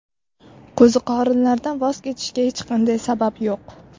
Qo‘ziqorinlardan voz kechishga hech qanday sabab yo‘q.